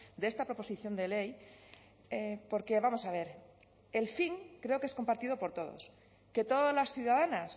de esta proposición de ley porque vamos a ver el fin creo que es compartido por todos que todas las ciudadanas